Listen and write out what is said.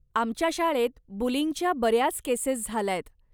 आमच्या शाळेत बुलिंगच्या बऱ्याच केसेस झाल्यायत.